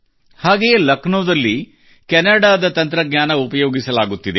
ಹಾಗೆಯೇ ಲಕ್ನೋದಲ್ಲಿ ಕೆನಡಾದ ತಂತ್ರಜ್ಞಾನ ಉಪಯೋಗಿಸಲಾಗುತ್ತಿದೆ